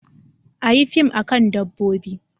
Make a film about animals